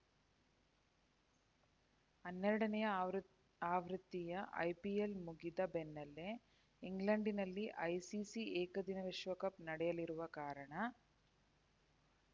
ಹನ್ನೆರಡನೇಯ ಆವೃತ್ತಿಯ ಐಪಿಎಲ್‌ ಮುಗಿದ ಬೆನ್ನಲ್ಲೇ ಇಂಗ್ಲೆಂಡ್‌ನಲ್ಲಿ ಐಸಿಸಿ ಏಕದಿನ ವಿಶ್ವಕಪ್‌ ನಡೆಯಲಿರುವ ಕಾರಣ